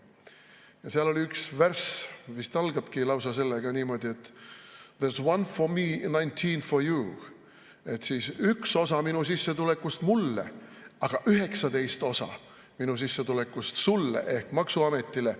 Ja seal on üks värss, vist algabki lausa niimoodi: "There's one for me, nineteen for you", ehk "üks osa minu sissetulekust mulle, aga 19 osa minu sissetulekust sulle" ehk maksuametile.